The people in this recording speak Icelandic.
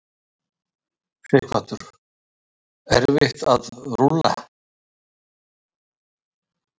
Sighvatur: Erfitt að rúlla?